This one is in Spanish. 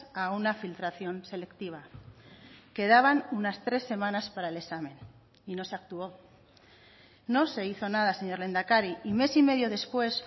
a una filtración selectiva quedaban unas tres semanas para el examen y no se actuó no se hizo nada señor lehendakari y mes y medio después